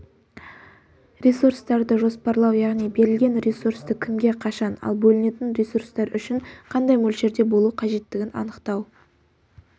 ресурстарды жоспарлау яғни берілген ресурсты кімге қашан ал бөлінетін ресурстар үшін қандай мөлшерде бөлу қажеттігін анықтау